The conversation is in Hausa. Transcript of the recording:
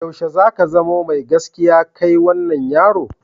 Yaushe za ka zama mai gaskiya kai wannan yaro?